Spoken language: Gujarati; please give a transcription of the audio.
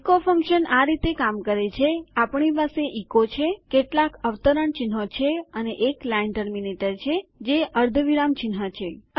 ઇકો ફંક્શન આ રીતે કામ કરે છે આપણી પાસે ઇકો છે કેટલાક અવતરણચિહ્નો છે અને એક લાઇન ટર્મીનેટર છે જે અર્ધવિરામ ચિહ્ન છે